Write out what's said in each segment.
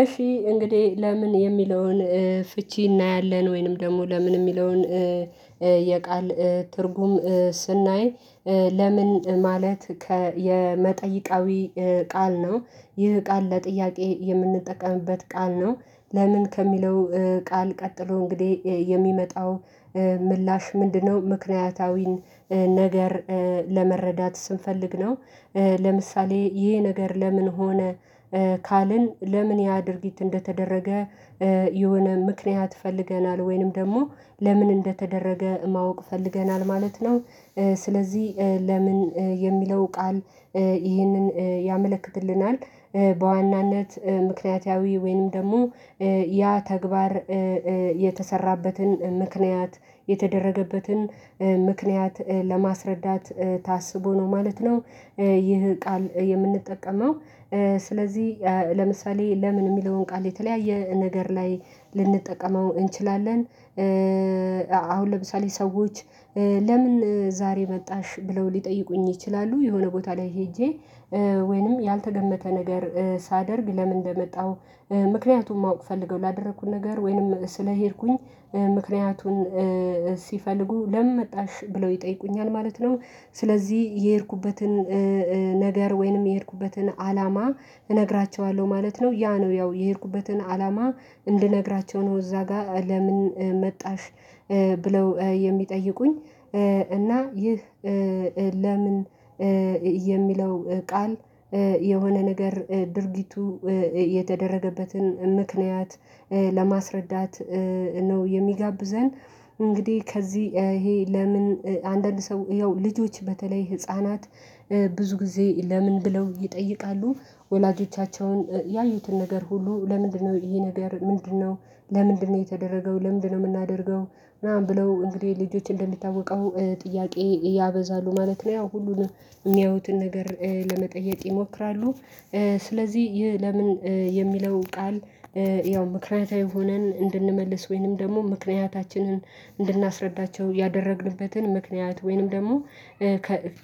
እሺ እንግዴ ለምን የሚለውን ፍቺ እናያለን ወይንም ደግሞ ለምን የሚለውን የቃል ትርጉም ስናይ። ለምን ማለት ከ የመጠይቃዊ ቃል ነው ይህ ቃል ለጥያቄ የምንጠቀምበት ቃል ነው። ለምን ከሚለው ቃል ቀጥሎ እንግዲህ የሚመጣው ምላሽ ምንድነው ምክንያታዊን ነገር ለመረዳት ስንፈልግ ነው። ለምሳሌ ይሄ ነገር ለምን ሆነ ካልን ለምን ያ ድርጊት እንደተደረገ የሆነ ምክንያት ፈልገናል ወይንም ደግሞ ለምን እንደተደረገ ማወቅ ፈልገናል ማለት ነው። ስለዚህ ለምን የሚለው ቃል ይህንን ያመለክትልናል በዋናነት ምክንያታዊ ወይንም ደግሞ ያ ተግባር የተሰራበትን ምክንያት የተደረገበትን ምክንያት ለማስረዳት ታስቦ ነው ማለት ነው። ይህ ቃል የምንጠቀመው ስለዚህ ለምሳሌ ለምን የሚለውን ቃል የተለያየ ነገር ላይ ልንጠቀመው እንችላለን። አሁን ለምሳሌ ሰዎች ለምን ዛሬ መጣሽ ብለው ሊጠይቁኝ ይችላሉ የሆነ ቦታ ላይ ሄጄ ወይንም ያልተገመተ ነገር ሳደርግ ለምን እንደመጣው ምክንያቱም ማወቅ ፈልገው ላደረኩት ነገር ወይንም ስለሄድኩኝ ምክንያቱን ሲፈልጉ ለምን መጣሽ ብለው ይጠይቁኛል ማለት ነው። ስለዚህ የሄድኩበትን ነገር ወይንም የሄድኩበትን አላማ እነግራቸዋለሁ ማለት ነው ያ ነው ያው የሄድኩበትን አላማ እንድነግራቸው ነው እዛ ጋር ለምን መጣሽ ብለው የሚጠይቁኝ? እና ይህ ለምን የሚለው ቃል የሆነ ነገር ድርጊቱ የተደረገበትን ምክንያት ለማስረዳት ነው። የሚጋብዘን እንግዲህ ከዚህ ይሄ ለምን አንዳንድ ሰው ያው ልጆች በተለይ ህፃናት ብዙ ጊዜ ለምን ብለው ይጠይቃሉ ወላጆቻቸውን ያዩትን ነገር ሁሉ ለምንድነው ይሄ ነገር ምንድነው? ለምንድነው የተደረገው ለምንድነው የምናደርገው ምናምን ብለው እንግዲህ ልጆች እንደሚታወቀው ጥያቄ ያበዛሉ ማለት ነው ያው ሁሉንም የሚያዩትን ነገር ለመጠየቅ ይሞክራሉ። ስለዚህ ይህ ለምን የሚለው ቃል ያው ምክንያታዊ ሆነን እንድንመልስ ወይንም ደግሞ ምክንያታችንን እንድናስረዳቸው ያደረግንበትን ምክንያት ወይንም ደግሞ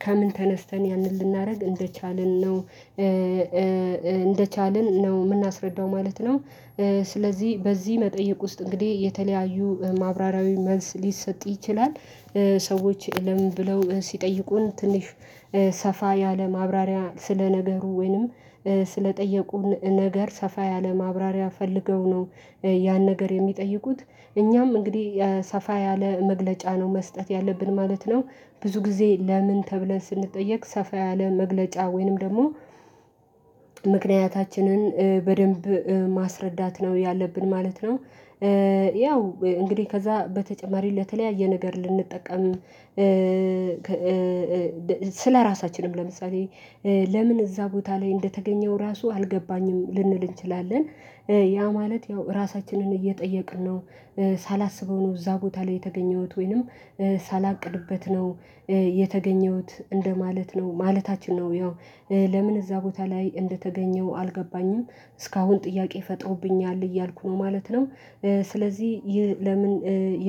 ከምን ተነስተን ያንን ልናረግ እንደቻልን ነው እንደቻልን ነው ምናስረዳው ማለት ነው። ስለዚህ በዚህ መጠይቅ ውስጥ እንግዲህ የተለያዩ ማብራሪያዊ መልስ ሊሰጥ ይችላል። ሰዎች ለምን ብለው ሲጠይቁን ትንሽ ሰፋ ያለ ማብራሪያ ስለ ነገሩ ወይንም ስለጠየቁን ነገር ሰፋ ያለ ማብራሪያ ፈልገው ነው ያን ነገር የሚጠይቁት እኛም እንግዲህ ሰፋ ያለ መግለጫ ነው መስጠት ያለብን ማለት ነው። ብዙ ጊዜ ለምን ተብለን ስንጠየቅ ሰፋ ያለ መግለጫ ወይንም ደግሞ ምክንያታችንን በደንብ ማስረዳት ነው ያለብን ማለት ነው። ያው እንግዲህ ከዛ በተጨማሪ ለተለያየ ነገር ልንጠቀም ስለራሳችንም ለምሳሌ ለምን እዛ ቦታ ላይ እንደተገኘው ራሱ አልገባኝም ልንል እንችላለን ያ ማለት ያው ራሳችንን እየጠየቅን ነው። ሳላስበው ነው እዛ ቦታ ላይ የተገኘሁት ወይንም ሳላቅድበት ነው የተገኘሁት እንደማለት ነው ማለታችን ነው ያው ለምን እዛ ቦታ ላይ እንደተገኘሁ አልገባኝም እስካሁን ጥያቄ ፈጠረውብኛል እያልኩ ማለት ነው። ስለዚህ ይህ ለምን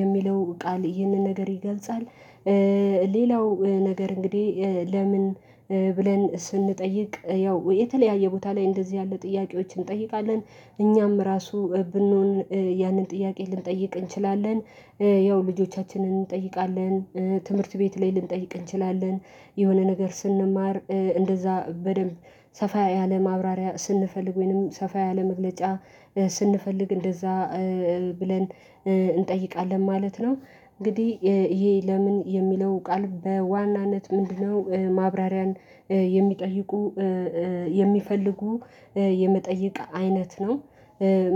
የሚለው ቃል ይህንን ነገር ይገልጻል። ሌላው ነገር እንግዲህ ለምን ብለን ስንጠይቅ ያው የተለያየ ቦታ ላይ እንደዚህ ያለ ጥያቄዎችን እንጠይቃለን እኛም ራሱ ብንሆን ያንን ጥያቄ ልንጠይቅ እንችላለን። ያው ልጆቻችንን እንጠይቃለን ትምህርት ቤት ላይ ልንጠይቅ እንችላለን የሆነ ነገር ስንማር እንደዛ በደንብ ሰፋ ያለ ማብራሪያ ስንፈልግ ወይንም ሰፋ ያለ መግለጫ ስንፈልግ እንደዛ ብለን እንጠይቃለን ማለት ነው። እንግዲህ ይሄ ለምን የሚለው ቃል በዋናነት ምንድነው ማብራሪያን የሚጠይቁ የሚፈልጉ የመጠይቅ አይነት ነው?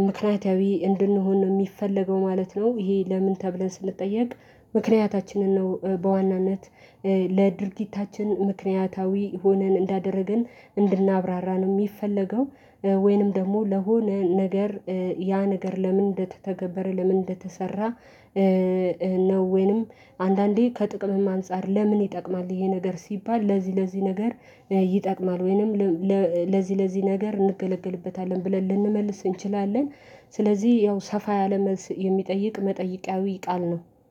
ምክንያታዊ እንድንሆን ነው የሚፈለገው ማለት ነው ይሄ ለምን ተብለን ስንጠየቅ ምክንያታችንን ነው በዋናነት ለድርጊታችን ምክንያታዊ ሆነን እንዳደረገን እንድናብራራን የሚፈለገው ወይንም ደግሞ ለሆነ ነገር ያ ነገር ለምን እንደተተገበረ ለምን እንደተሰራ። ነው ወይንም አንዳንዴ ከጥቅምም አንፃር ለምን ይጠቅማል ይሄ ነገር ሲባል ለዚህ ለዚህ ነገር ይጠቅማል ወይንም ለዚህ ለዚህ ነገር እንገለግልበታለን ብለን ልንመልስ እንችላለን። ስለዚህ ያው ሰፋ ያለ መልስ የሚጠይቅ መጠይቃዊ ቃል ነው